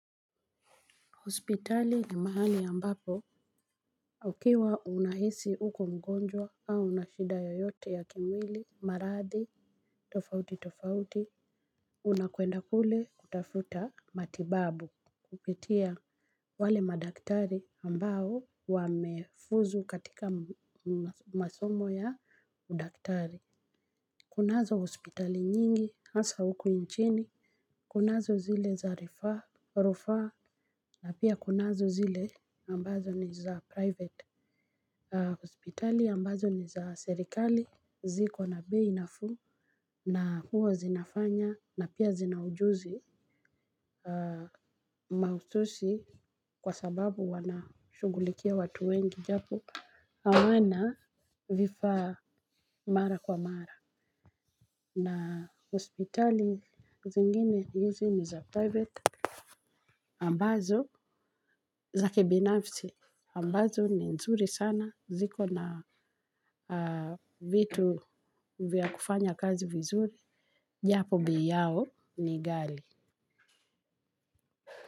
Hospitali ni mahali ambapo ukiwa unahisi uko mgonjwa au unashida yoyote ya kimwili maradhi tofauti tofauti unakwenda kule kutafuta matibabu kupitia wale madaktari ambao wamefuzu katika masomo ya udaktari. Kunazo hospitali nyingi hasa huku nchini, kunazo zile za rufaa na pia kunazo zile ambazo ni za private. Hospitali ambazo ni za serikali ziko na bei nafuu na huazinafanya na pia zina ujuzi mahususi kwa sababu wana shugulikia watu wengi japo hawana vifaa mara kwa mara. Na hospitali zingine hizi ni za private ambazo za kibinafsi ambazo ni nzuri sana ziko na vitu vya kufanya kazi vizuri. Japo bei yao ni ghali.